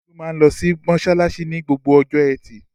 Olú máa ń lọ mọṣáláṣí ní gbogbo ọjọ́ ẹtì.